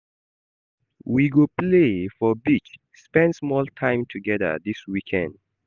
We go play for beach, spend small time togeda dis weekend.